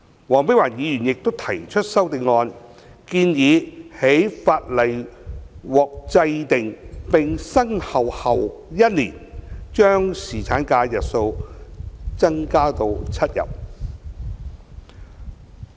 黃碧雲議員亦提出修正案，建議在法例獲制定並生效後1年，將侍產假的日數增加至7天。